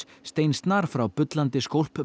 steinsnar frá bullandi